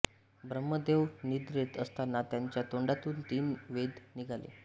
ब्रह्मदेव निद्रेत असताना त्यांच्या तोंडातून तीन वेद निघाले